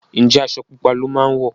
Njé Aṣọ pupa ló má wọ?